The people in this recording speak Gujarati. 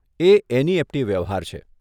એ એનઇએફટી વ્યવહાર છે.